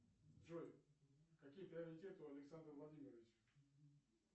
джой какие приоритеты у александра владимировича